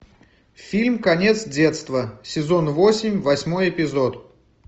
фильм конец детства сезон восемь восьмой эпизод